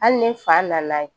Hali ni fa nana ye